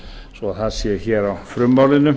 það sé hér á frummálinu